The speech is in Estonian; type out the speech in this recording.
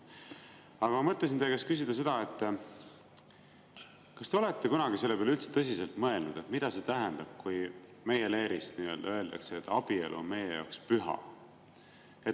Aga ma mõtlesin teie käest küsida seda, kas te olete kunagi üldse tõsiselt mõelnud selle peale, mida see tähendab, kui nii-öelda meie leerist öeldakse, et abielu on meie jaoks püha.